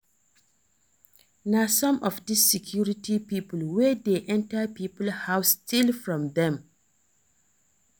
Na some of dis security people wey dey enter people house still from dem